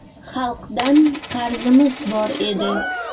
Xalqdan qarzimiz bor edi.